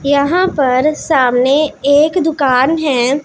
यहां पर सामने एक दुकान हैं।